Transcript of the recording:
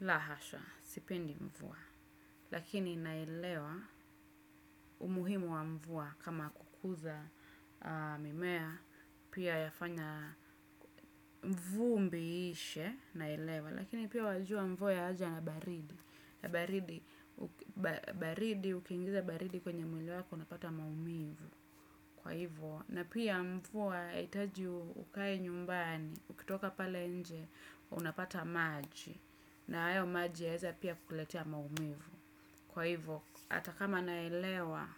La hasha, sipendi mvua. Lakini naelewa, umuhimu wa mvua kama kukuza mimea, pia yafanya vumbi iishe naelewa. Lakini pia wajua mvua yaja na baridi. Baridi, ukiingiza baridi kwenye mwili wako unapata maumivu kwa hivyo. Na pia mvua, yahitaji ukae nyumbani, ukitoka pale nje, unapata maji. Na hayo maji yaweza pia kukuletea maumivu. Kwa hivyo, hata kama naelewa